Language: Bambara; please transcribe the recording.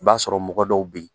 I b'a sɔrɔ mɔgɔ dɔw be ye